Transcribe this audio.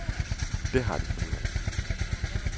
Det har de fundet ud af.